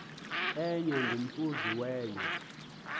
enye ngomhluzi wenye